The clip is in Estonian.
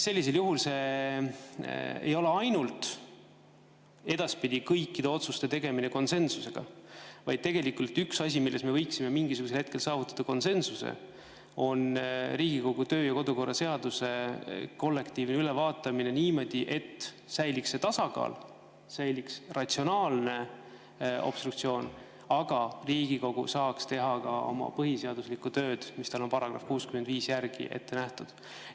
Sellisel juhul ei ole ainult see, et edaspidi toimub kõikide otsuste tegemine konsensusega, vaid tegelikult üks asi, milles me võiksime mingisugusel hetkel saavutada konsensuse, on Riigikogu töö‑ ja kodukorra seaduse kollektiivne ülevaatamine niimoodi, et säiliks see tasakaal, säiliks ratsionaalne obstruktsioon, aga Riigikogu saaks teha ka oma põhiseaduslikku tööd, mis talle on § 65 järgi ette nähtud.